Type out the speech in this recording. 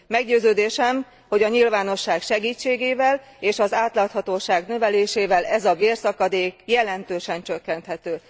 Meggyőződésem, hogy a nyilvánosság segítségével és az átláthatóság növelésével ez a bérszakadék jelentősen csökkenthető.